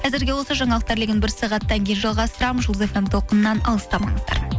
әзірге осы жаңалықтар легін бір сағаттан кейін жалғастырамын жұлдыз фм толқынынан алыстамаңыздар